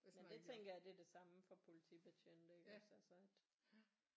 Men det tænker jeg det er det samme for politibetjente iggås altså at